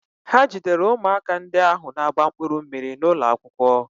Ha jidere ụmụaka ndị ahụ na-agba mkpụrụ mmiri n'ụlọ akwụkwọ.